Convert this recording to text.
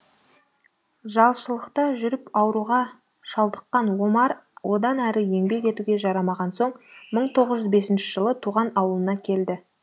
жалшылықта жүріп ауруға шалдыққан омар одан әрі еңбек етуге жарамаған соң мың тоғыз жүз бесінші жылы туған аулына келеді